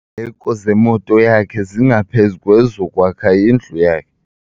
Iindleko zemoto yakhe zingaphezu kwezokwakha indlu yakhe.